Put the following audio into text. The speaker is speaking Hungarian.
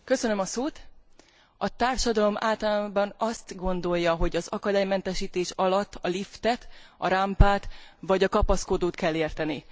A társadalom általában azt gondolja, hogy az akadálymenetesítés alatt a liftet, a rámpát vagy a kapaszkodót kell érteni.